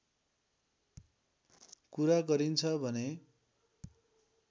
कुरा गरिन्छ भने